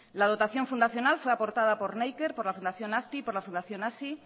la dotación fundacional fue aportada por neiker por la fundación azti por la fundación hazi